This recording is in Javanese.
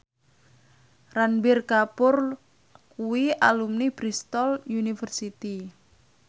Ranbir Kapoor kuwi alumni Bristol university